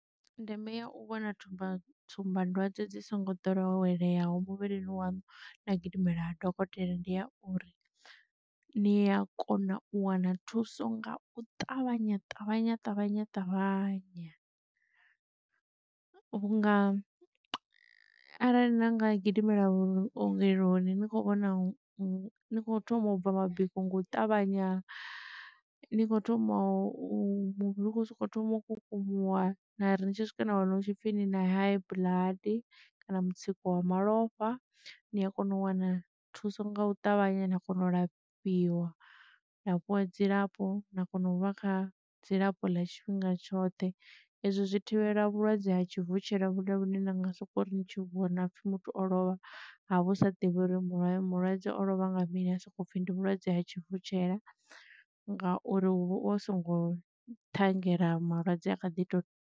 Ndeme ya u vhona thuba tsumba dwadze dzi songo doweleyaho muvhilini waṋu na gidimela ha dokotela ndi ya uri ni ya kona u wana thuso nga u ṱavhanya ṱavhanya ṱavhanya ṱavhanya. Vhunga arali na nga gidimela vhuongeloni ni kho vhona vho thoma u bva mabiko nga u ṱavhanya ni kho thoma u thoma muvhili u thoma u kukumuwa na ri tshi swika na wana hu tshi pfhi na high blood kana mutsiko wa malofha ni a kona u wana thuso nga u ṱavhanya na kona u lafhiwa na fhiwa dzilafho na kona u vha kha dzilafho ḽa tshifhinga tshoṱhe. Ezwi zwi thivhela vhulwadze ha tshivutshela vhune lune na nga soko ri tshi vho na pfhi muthu o lovha ha vhu sa ḓivhi uri mulayo mulwadze o lovha nga mini ha soko pfhi ndi vhulwadze ha tshivutshela ngauri hu songo ṱhanngela malwadze a kha ḓi tou.